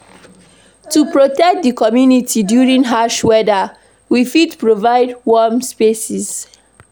To protect community during harsh weather, we fit provide warm spaces